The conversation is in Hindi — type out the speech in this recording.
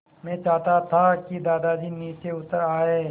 मैं चाहता था कि दादाजी नीचे उतर आएँ